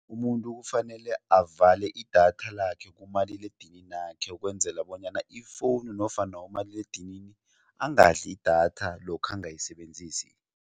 Umuntu kufanele avale idatha lakhe kumaliledininakhe ukwenzela bonyana ifowunu nofana umaliledinini angadli idatha lokha angayisebenzisi.